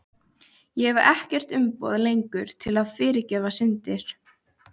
Ég hef ekkert umboð lengur til að fyrirgefa syndir.